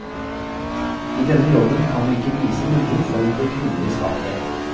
I denne jobben kan du ikke vise noen form for kvinnelig svakhet.